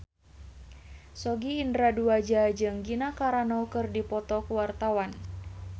Sogi Indra Duaja jeung Gina Carano keur dipoto ku wartawan